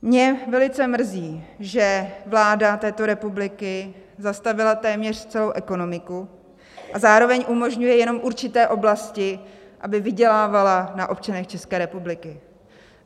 Mě velice mrzí, že vláda této republiky zastavila téměř celou ekonomiku a zároveň umožňuje jenom určité oblasti, aby vydělávala na občanech České republiky.